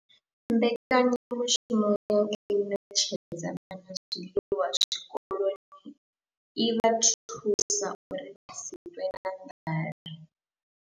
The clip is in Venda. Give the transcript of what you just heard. Mbekanyamushumo ya u ṋetshedza vhana zwiḽiwa zwikoloni i vha thusa uri vha si ṱwe na nḓala.